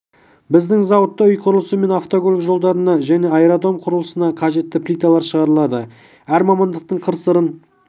біздің зауытта үй құрылысы мен автокөлік жолдарына және аэродром құрылысына қажетті плиталар шығарылады әр мамандықтың қыр-сырын